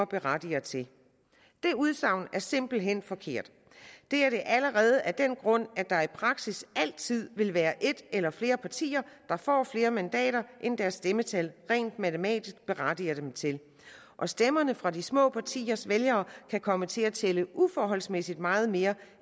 berettiger til det udsagn er simpelt hen forkert det er det allerede af den grund at der i praksis altid vil være et eller flere partier der får flere mandater end deres stemmetal rent matematisk berettiger dem til og stemmerne fra de små partiers vælgere kan komme til at tælle uforholdsmæssig meget mere